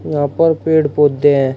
यहां पर पेड़ पौधे हैं।